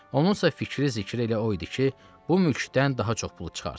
Onunsa fikri-zikri elə o idi ki, bu mülkdən daha çox pulu çıxartsın.